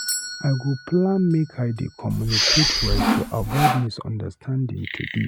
I go plan make I dey communicate well to avoid misunderstanding today.